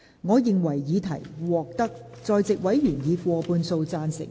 我認為議題獲得在席委員以過半數贊成。